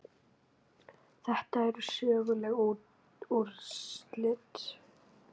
Þetta eru söguleg úrslit.